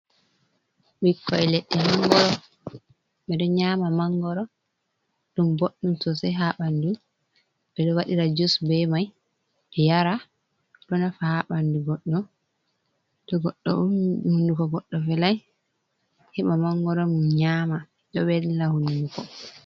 Ɓikkoi leɗɗe mangoro. Ɓedo nyama mangoro, ɗum boɗɗum sosai haa ɓandu. Ɓe ɗo waɗira jus be mai yara, ɗo nafa haa ɓandu goɗɗo to goɗɗo ummi hunduko goddo velai, heɓa mangoro mum nyama, ɗo velna hunduko